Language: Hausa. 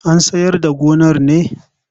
An sayar da gonar ne?